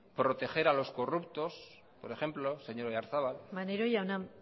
proteger a los corruptos por ejemplo señor oyarzabal maneiro jauna